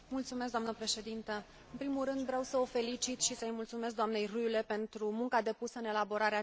În primul rând, vreau să o felicit și să i mulțumesc doamnei Rühle pentru munca depusă în elaborarea acestui raport.